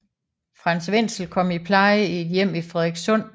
Frank Wenzel kom i pleje i et hjem i Frederikssund